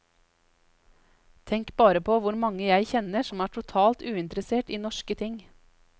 Tenk bare på hvor mange jeg kjenner som er totalt uinteressert i norske ting.